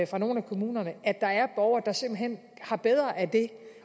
fra nogle af kommunerne at der er borgere der simpelt hen har bedre af det